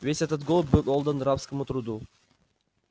весь этот год был отдан рабскому труду